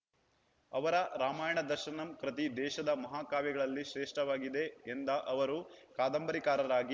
ಅವರ ರಾಮಾಯಣದರ್ಶನಂ ಕೃತಿ ದೇಶದ ಮಹಾ ಕಾವ್ಯಗಳಲ್ಲಿ ಶ್ರೇಷ್ಠವಾಗಿದೆ ಎಂದ ಅವರು ಕಾದಂಬರಿಕಾರರಾಗಿ